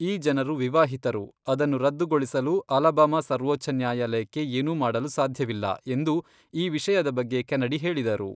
ಈ ಜನರು ವಿವಾಹಿತರು. ಅದನ್ನು ರದ್ದುಗೊಳಿಸಲು ಅಲಬಾಮಾ ಸರ್ವೋಚ್ಛ ನ್ಯಾಯಾಲಯಕ್ಕೆ ಏನೂ ಮಾಡಲು ಸಾಧ್ಯವಿಲ್ಲ, ಎಂದು ಈ ವಿಷಯದ ಬಗ್ಗೆ ಕೆನಡಿ ಹೇಳಿದರು.